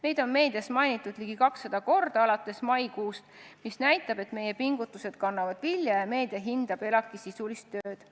Meid on meedias alates maikuust mainitud ligi 200 korda, mis näitab, et meie pingutused kannavad vilja ja meedia hindab ELAK-i sisulist tööd.